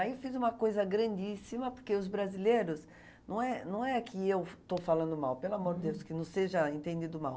Aí eu fiz uma coisa grandíssima, porque os brasileiros... Não é não é que eu estou falando mal, pelo amor de Deus, que não seja entendido mal.